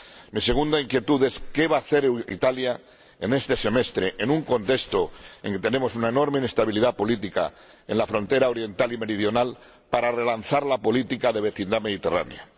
Mi segunda inquietud es qué va hacer Italia en este semestre, en un contexto en el que tenemos una enorme inestabilidad política en la frontera oriental y meridional, para relanzar la política de vecindad mediterránea.